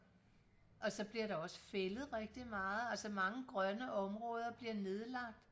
og så bliver der også fældet rigtig meget altså mange grønne områder bliver nedlagt